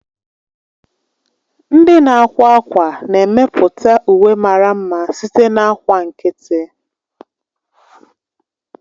Ndị na-akwa ákwá na-emepụta uwe mara mma site na ákwà nkịtị.